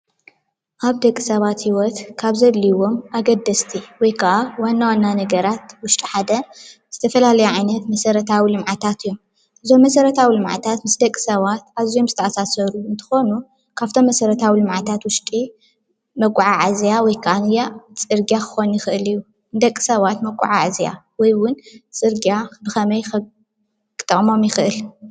ኣብ ደቂ ሰባት ሂወት ካብ ዘድልይዎም ኣገደስቲ ወይ ከዓ ዋናዋና ነገራት ኣድለይትን ውሽጢ ሓደ ዝተፈላለዩ መሰራታዊ ልምዓታት እዩ፡፡ እዞም መሰራታዊ ልምዓታት ዝተመሳሰሉ እንትኮኑ ካብቶም መሰራታዊ ልምዓታት ውሽጢ መጓዓዓዝያ ወይ ድማ ፅርግያታት ክኮን ይክእል እዩ፡፡ ደቂ ሳባት መጓዓዓዝያ ወይ ፅርግያ ብከመይ ከ ክጠቅሞም ይክእል ?